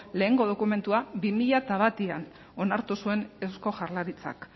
lehenengo dokumentua bi mila batean onartu zuen eusko jaurlaritzak